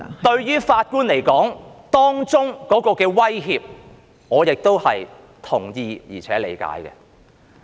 對於法官的威脅，我是同意及理解的。